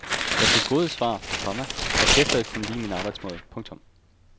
Jeg fik gode svar, komma orkesteret kunne lide min arbejdsmåde. punktum